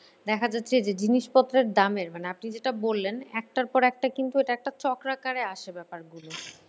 দেখা যাচ্ছে যে জিনিসপত্রের দামের মানে আপনি যেটা বললেন একটার পর একটা কিন্তু এটা একটা চক্রাকারে আসে ব্যাপারগুলো।